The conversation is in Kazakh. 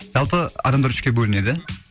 жалпы адамдар үшке бөлінеді